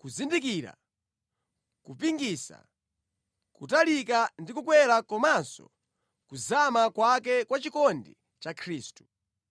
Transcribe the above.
kuzindikira kupingasa, kutalika ndi kukwera komanso kuzama kwake kwa chikondi cha Khristu.